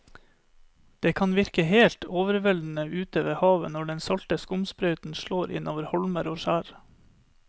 Det kan virke helt overveldende ute ved havet når den salte skumsprøyten slår innover holmer og skjær.